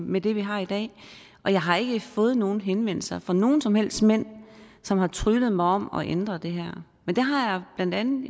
med det vi har i dag og jeg har ikke fået nogen henvendelser fra nogen som helst mænd som har tryglet mig om at ændre det her men det har jeg blandt andet